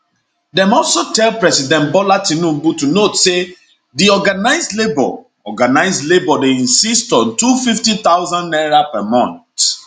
dem also tell president bola tinubu to note say di organised labour organised labour dey insist on 250000 naira per month